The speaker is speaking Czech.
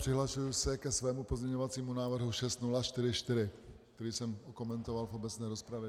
Přihlašuji se ke svému pozměňovacímu návrhu 6044, který jsem komentoval v obecné rozpravě.